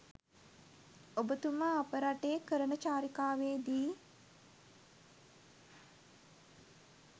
ඔබතුමා අප රටේ කරන චාරිකාවේ දී